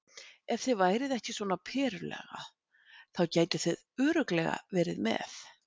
Ef þið væruð ekki svona Perulaga þá gætuð þið örugglega verið með.